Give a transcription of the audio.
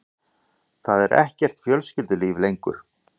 Það er ekkert fjölskyldulíf lengur.